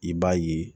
I b'a ye